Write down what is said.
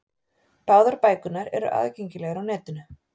Báðar bækurnar eru aðgengilegar á netinu.